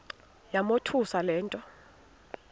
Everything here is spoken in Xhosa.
yamothusa le nto